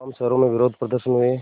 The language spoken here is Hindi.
तमाम शहरों में विरोधप्रदर्शन हुए